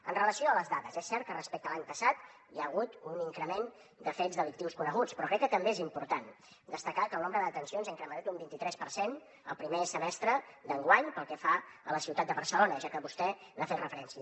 amb relació a les dades és cert que respecte a l’any passat hi ha hagut un increment de fets delictius coneguts però crec que també és important destacar que el nombre de detencions s’ha incrementat un vint i tres per cent el primer semestre d’enguany pel que fa a la ciutat de barcelona ja que vostè hi ha fet referència